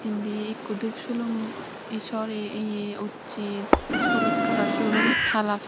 indi ikko dup sulum e sorri ye ussey olot kalar sulum hala.